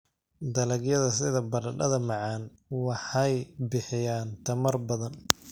Dalagyada sida baradhada macaan waxay bixiyaan tamar badan.